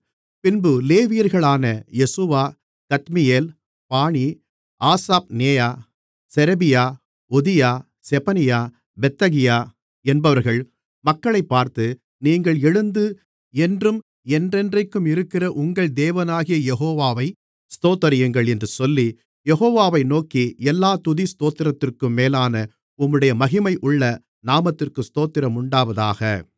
பின்பு லேவியர்களான யெசுவா கத்மியேல் பானி ஆசாப்நெயா செரெபியா ஒதியா செபனியா பெத்தகியா என்பவர்கள் மக்களைப் பார்த்து நீங்கள் எழுந்து என்றும் என்றென்றைக்குமிருக்கிற உங்கள் தேவனாகிய யெகோவாவை ஸ்தோத்திரியுங்கள் என்று சொல்லி யெகோவாவை நோக்கி எல்லா துதி ஸ்தோத்திரத்திற்கும் மேலான உம்முடைய மகிமையுள்ள நாமத்திற்கு ஸ்தோத்திரமுண்டாவதாக